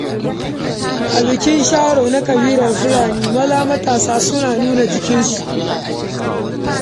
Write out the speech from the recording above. A yayin bikin Sharo na ƙabilar Fulani, matasa maza sukan nuna ƙarfin jikinsu.